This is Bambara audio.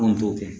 Anw t'o kɛ